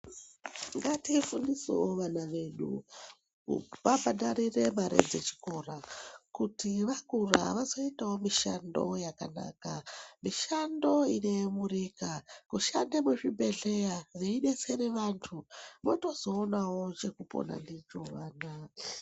Ngatifundisewo vana vedu kuvabhadharire mare dzechikora kuti vakura vazoitawo mishando yakanaka mishando inoyemurika, kushande muzvibhedhlera veidetsere vantu votozoonawo chekupona ndicho vana ava.